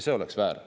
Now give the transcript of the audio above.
See oleks väär.